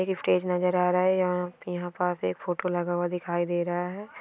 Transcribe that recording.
एक स्‍टेज नजर आ रहा है यहाँ पे यहाँ पास एक फोटो लगा हुआ दिखाई दे रहा है।